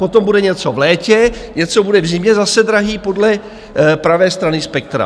Potom bude něco v létě, něco bude v zimě zase drahé podle pravé strany spektra.